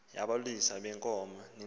yabalusi beenkomo neengxaki